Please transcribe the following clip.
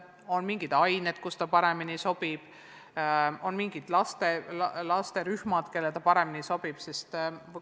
Kas on mingid ained, mille õpetamiseks see paremini sobib, või mingid laste rühmad, kellele selline õpe paremini sobib?